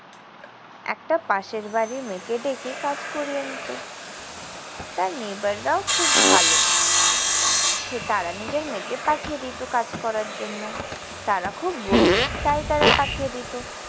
একটা পাশের বাড়ির মেয়েকে ডেকে কাজ করিয়ে নিত। তার neighbour রাও খুব ভালো। সে তারা নিজের মেয়েকে পাঠিয়ে দিত কাজ করার জন্য। তারা খুব গরিব। তাই তারা পাঠিয়ে দিত।